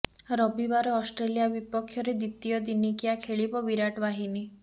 ରବିବାର ଅଷ୍ଟ୍ରେଲିଆ ବିପକ୍ଷରେ ଦ୍ୱିତୀୟ ଦିନିକିଆ ଖେଳିବ ବିରାଟ ବାହିନୀ